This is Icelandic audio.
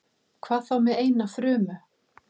Hvað þá með eina frumu?